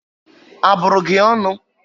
A bụrụ gị ọṅụ?